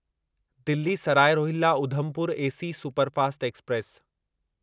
Delhi Sarai Rohilla Udhampur AC superfast express